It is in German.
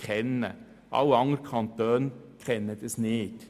Andere Kantone kennen keine solchen Bestimmungen.